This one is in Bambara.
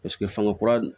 Paseke fanga kura